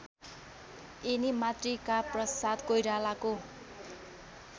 यिनी मातृकाप्रसाद कोइरालाको